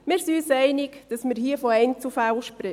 Wir sind uns einig, dass wir hier von Einzelfällen sprechen.